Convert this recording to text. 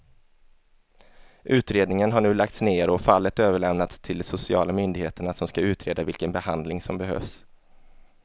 Utredningen har nu lagts ner och fallet överlämnats till de sociala myndigheterna som ska utreda vilken behandling som behövs.